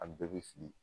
A bɛɛ bɛ fili